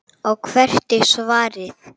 Og hvert er svarið?